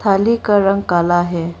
थाली का रंग काला है।